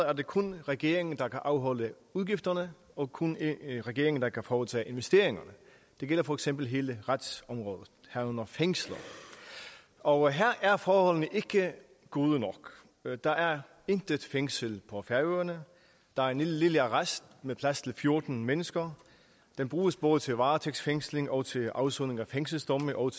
er det kun regeringen der kan afholde udgifterne og kun regeringen der kan foretage investeringerne det gælder for eksempel hele retsområdet herunder fængsler og her er forholdene ikke gode nok der er intet fængsel på færøerne der er en lille arrest med plads til fjorten mennesker som bruges både til varetægtsfængsling og til afsoning af fængselsstraffe og